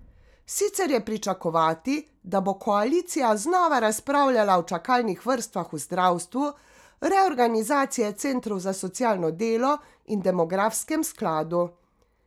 Sicer je pričakovati, da bo koalicija znova razpravljala o čakalnih vrstah v zdravstvu, reorganizaciji centrov za socialno delo in demografskem skladu.